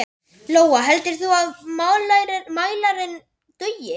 Lóa: Heldurðu að mælirinn dugi?